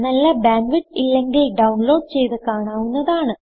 നല്ല bandwidth ഇല്ലെങ്കിൽ download ചെയ്ത് കാണാവുന്നതാണ്